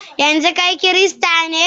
yanzu kai kirista ne?